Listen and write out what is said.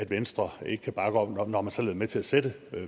venstre ikke kan bakke op om når man selv med til at sætte